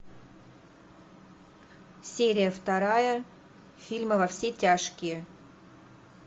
серия вторая фильма во все тяжкие